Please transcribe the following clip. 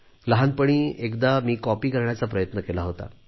लहानपणी एकदा मी कॉपी करण्याचा प्रयत्न केला होता